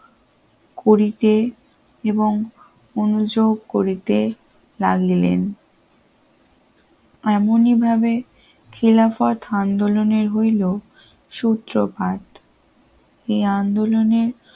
করিতে এবং মনোযোগ করিতে লাগলেন এমন ভাবে খেলাফত আন্দোলনের হইল সুপ্রভাত এ আন্দোলনের